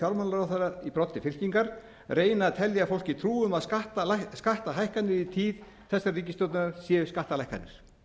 fjármálaráðherra í broddi fylkingar reyna að telja fólki trú um að skattahækkanir í tíð þessara ríkisstjórnar séu skattalækkanir